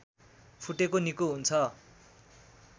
फुटेको निको हुन्छ